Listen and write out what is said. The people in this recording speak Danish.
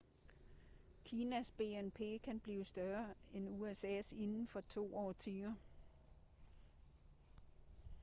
kinas bnp kan blive større end usas inden for to årtier